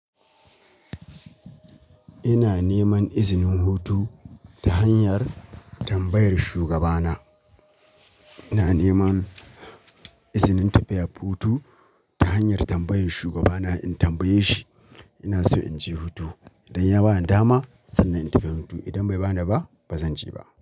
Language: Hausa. Ina neman izinin hutu ta hanyar tambayar shugabana. Ina neman izinin tafiya hutu ta hanyar tambayar shugabana ne. In tambaye shi ina so in je hutu, idan ya ba ni dama sannan in tafi hutu. Idan bai ba ni ba, ba zan je ba.